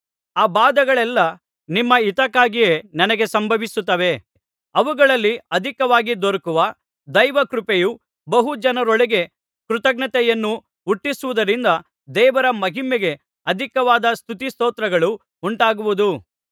ಆ ಬಾಧೆಗಳೆಲ್ಲಾ ನಿಮ್ಮ ಹಿತಕ್ಕಾಗಿಯೇ ನಮಗೆ ಸಂಭವಿಸುತ್ತವೆ ಅವುಗಳಲ್ಲಿ ಅಧಿಕವಾಗಿ ದೊರಕುವ ದೈವಕೃಪೆಯು ಬಹು ಜನರೊಳಗೆ ಕೃತಜ್ಞತೆಯನ್ನು ಹುಟ್ಟಿಸುವುದರಿಂದ ದೇವರ ಮಹಿಮೆಗೆ ಅಧಿಕವಾದ ಸ್ತುತಿ ಸ್ತೋತ್ರಗಳು ಉಂಟಾಗುವುದು